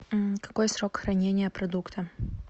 какой срок хранения продукта